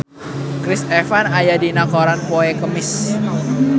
Chris Evans aya dina koran poe Kemis